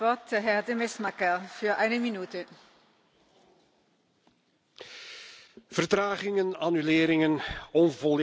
Vertragingen, annuleringen en onvolledige informatie, we worden er ook in België, meer dan ons lief is, mee geconfronteerd.